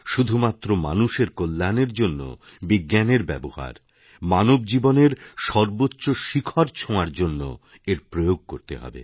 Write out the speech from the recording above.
শুধুমাত্র মানুষের কল্যাণের জন্যবিজ্ঞানের ব্যবহার মানব জীবনের সর্বোচ্চ শিখর ছোঁয়ার জন্য এর প্রয়োগ করতে হবে